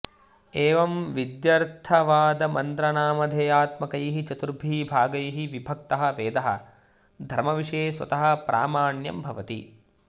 एवं विध्यर्थवादमन्त्रनामधेयात्मकैः चतुर्भिः भागैः विभक्तः वेदः धर्मविषये स्वतः प्रामाण्यं भवति